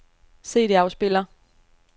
CD-afspiller